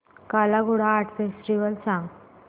काला Ghoda art festival सांग